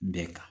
Bɛɛ kan